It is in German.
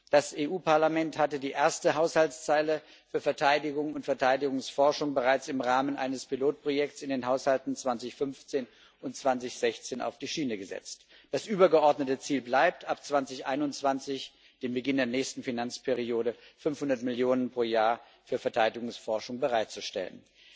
Das Europäische Parlament hatte die erste Haushaltszeile für Verteidigung und Verteidigungsforschung bereits im Rahmen eines Pilotprojekts in den Haushalten 2015 und 2016 auf die Schiene gesetzt. Das übergeordnete Ziel bleibt, ab 2021 dem Beginn der nächsten Finanzperiode 500 Millionen Euro pro Jahr für Verteidigungsforschung bereitzustellen.